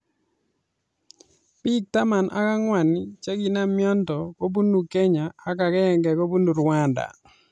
Bik taman ak angwan chekinam mnyendo kobunu kenya ak akenge kobunu rwanda.